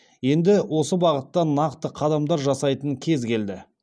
енді осы бағытта нақты қадамдар жасайтын кез келді